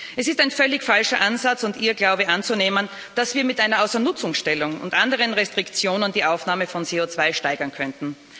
Es ist ein völlig falscher Ansatz und Irrglaube anzunehmen, dass wir mit einer Außernutzungstellung und anderen Restriktionen die Aufnahme von CO2 steigern könnten.